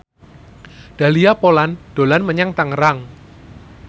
Dahlia Poland dolan menyang Tangerang